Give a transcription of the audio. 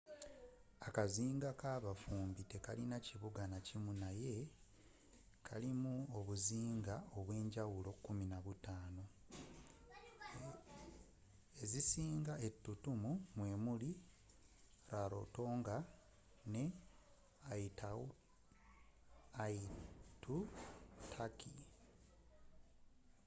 akazinga kabafumbi tekalina kibuga nakimu naye kalimu obuzinga obwenjawulo 15 ezisinga ettutumu mwemuli rarotonga ne aitutaki